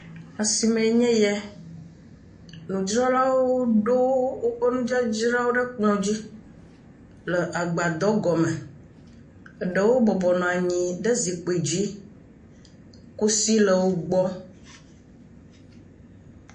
Asime nye ya, nudzralawo ɖo wo ƒe nudzradzra ɖe ekplɔ dzi le agba dɔ gɔme eɖewo bɔbɔ nɔ anyi ɖe si kpui dzi, kusi le wogbɔ